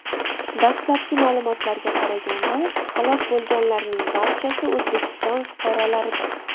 Dastlabki ma’lumotlarga qaraganda, halok bo‘lganlarning barchasi O‘zbekiston fuqarolaridir.